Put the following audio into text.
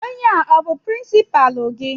Ònye a ọ bú pirinsipaalu gị?